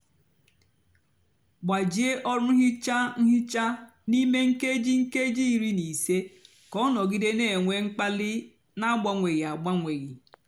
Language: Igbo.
gbajie ọrụ nhicha nhicha n'ímé nkéjí nkéjí írí nà ísé kà ọ nọgide nà-ènwé mkpali nà agbanwéghí agbanwéghí.